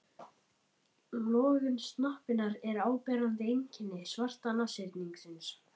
Lögun snoppunnar er áberandi einkenni svarta nashyrningsins.